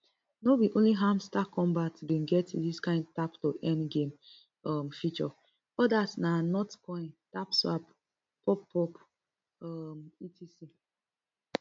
no be only hamster kombat bin get dis kin tap to earn game um feature odas na notcoin tapswap poppo um etc